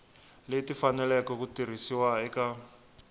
leti faneleke ku tirhisiwa eka